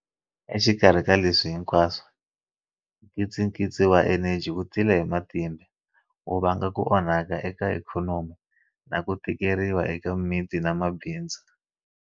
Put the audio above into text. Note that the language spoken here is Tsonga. Exikarhi ka leswi hinkwaswo, nkitsikitsi wa eneji wu tile hi matimba, wu vanga ku onhaka eka ikhonomi na ku tikeriwa eka miti na mabindzu.